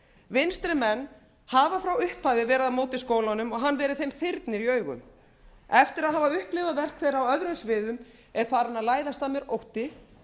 vinstrimenn hafa frá upphafi verið á móti skólanum og hann verið þeim þyrnir í augum eftir að hafa upplifað verk þeirra á öðrum sviðum er farinn að læðast að mér ótti